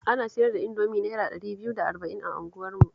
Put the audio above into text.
Ana siyar da Indomi Naira ɗari biyu da arba'in a unguwarmu